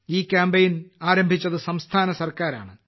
ഈ കാമ്പയിൻ ആരംഭിച്ചത് സംസ്ഥാന സർക്കാരാണ്